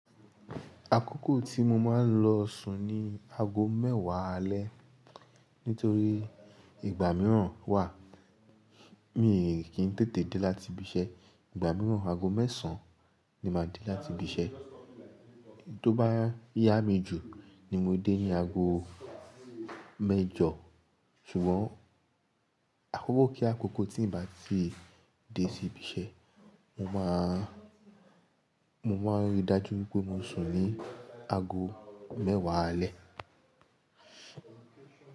Àkókò tí mo máa ń lọ sùn ni aago mẹ́wàá alẹ́. Nítorí ìgbà mìíràn wà, mi kì í tètè dé láti ibi iṣẹ́. Ìgbà mìíràn aago mẹ́sàn-án ni máa dé láti ibi iṣẹ́. Tó bá yá mi jù ni mo dé ní aago mẹ́jọ. Ṣùgbọ́n akókò kí akókò tí n bá ti dé sí ibi iṣẹ́, mo máa, mo máa rí i dájú wípé mo sùn ní aago mẹ́wàá alẹ́.